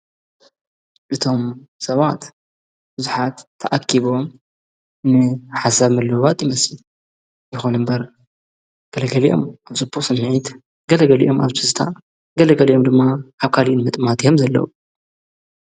እቶም ሰባት ብዙኃት ተኣኪቦም ሓሳብ ምልውባት ኢመሲ ይኾኑ እምበር ገለገሊኦም ኣብ ዝጶ ስናይት ገለገሊኦም ኣብትዝታ ገለገሊኦም ድማ ኣካሊን ምጥማት የም ዘለዉ::